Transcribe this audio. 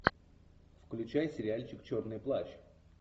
включай сериальчик черный плащ